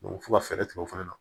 f'u ka fɛɛrɛ tigɛ o fana na